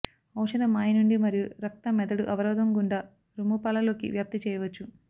ఔషధ మాయ నుండి మరియు రక్త మెదడు అవరోధం గుండా రొమ్ము పాలు లోకి వ్యాప్తి చేయవచ్చు